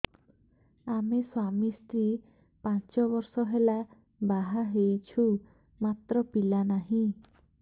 ଆମେ ସ୍ୱାମୀ ସ୍ତ୍ରୀ ପାଞ୍ଚ ବର୍ଷ ହେଲା ବାହା ହେଇଛୁ ମାତ୍ର ପିଲା ନାହିଁ